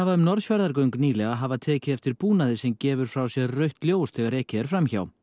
um Norðfjarðargöng nýlega hafa tekið eftir búnaði sem gefur frá sér rautt ljós þegar ekið er fram hjá